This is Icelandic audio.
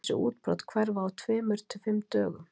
Þessi útbrot hverfa á tveimur til fimm dögum.